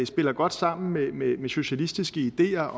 spiller godt sammen med med socialistiske ideer